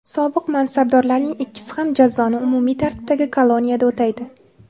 Sobiq mansabdorlarning ikkisi ham jazoni umumiy tartibdagi koloniyada o‘taydi.